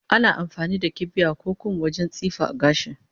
Ana amfani da kibiya da kum wajen tsifa a gida